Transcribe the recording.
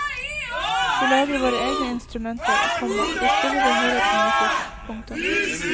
Vi lager våre egne instrumenter, komma vi spiller og hører på musikk. punktum